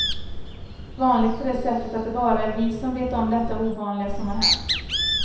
Vanligt på det sättet att det bara är vi som vet om detta ovanliga som har hänt.